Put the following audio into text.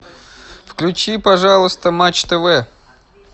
включи пожалуйста матч тв